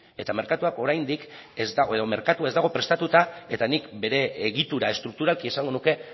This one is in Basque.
ez dago prestatuta eta nik bere egitura estrukturalki esango nuke